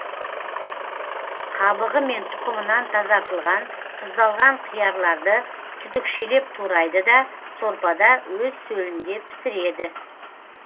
қабығы мен тұқымынан тазартылған тұздалған қиярларды түтікшелеп турайды да сорпада өз сөлінде пісіреді